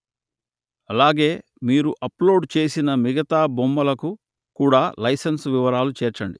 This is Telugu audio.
అలాగే మీరు అప్లోడు చేసిన మిగతా బొమ్మలకు కూడా లైసెన్సు వివరాలు చేర్చండి